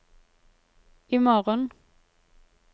imorgen